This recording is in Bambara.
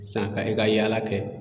San ka e ka yaala kɛ